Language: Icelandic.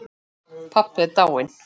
Pabbi dáinn.